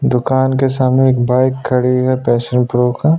दुकान के सामने एक बाइक खड़ी हैं पैशन प्रो का--